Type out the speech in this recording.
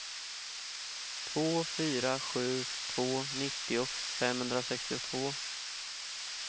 två fyra sju två nittio femhundrasextiotvå